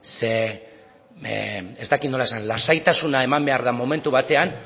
ez dakit nola esan lasaitasuna eman behar den momentu batean